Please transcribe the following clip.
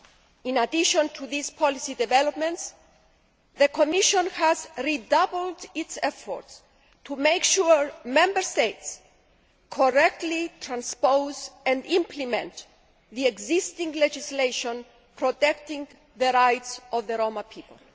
In addition to these policy developments, the Commission has redoubled its efforts to make sure Member States correctly transpose and implement the existing legislation protecting the rights of the Roma people.